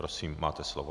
Prosím, máte slovo.